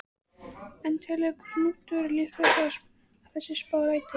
En telur Knútur líklegt að þessi spá rætist?